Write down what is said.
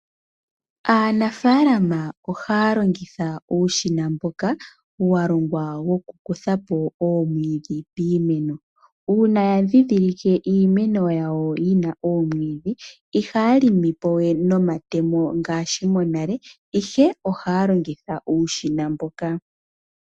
Aanafalama ohaya longitha uushina mboka walongwa wokukutha oomwiidhi piimeno uuna yadhidhilike iimeno yawo yina oomwiidhi ihaya limipo we nomatemo ihe ohaya longitha uushina mbuka.